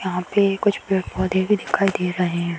यहाँ पे कुछ पेड़-पौधे भी दिखाई दे रहे हैं।